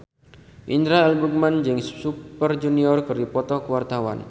Indra L. Bruggman jeung Super Junior keur dipoto ku wartawan